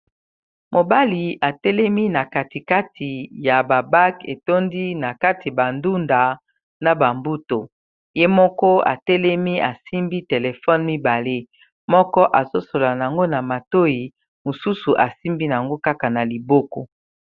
Mobali, atelemi na katikati ya babak, etondi na kati bandunda na bambuto. Ye moko atelemi, asimbi telefone mibale. Moko, azo solola na ngo na matoi. Mosusu, asimbi nango kaka na liboko.